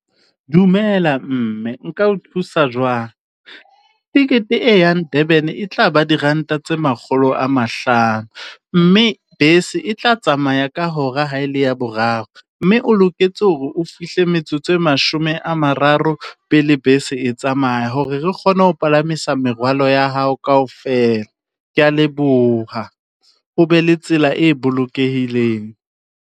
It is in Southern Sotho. Dumela mme, nka o thusa jwang? Tekete e yang Durban e tla ba diranta tse makgolo a mahlano, mme bese e tla tsamaya ka hora ha e le ya boraro. Mme o loketse hore o fihle metsotso e mashome a mararo pele bese e tsamaya hore re kgone ho palamisa merwalo ya hao kaofela. Ke ya leboha, o be le tsela e bolokehileng.